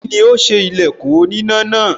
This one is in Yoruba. Kíni ó ṣe ilẹ̀kùn oníná náà?